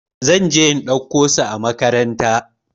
Zan je in ɗauko su a makaranta.